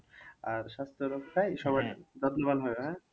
আর স্বাস্থ্য রক্ষায় যত্নবান হয় হ্যাঁ